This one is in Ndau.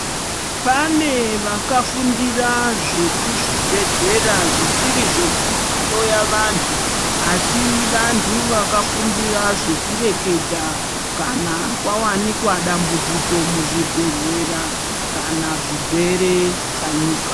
Pane vakafundira zvekuzvibhedhlera, zvisiri zvekuhloya vanthu asi vanthu vakafundira zvekureketakanq kwawanikwa dambudziko muzvibhedhlera kana zvirwere chanyuka.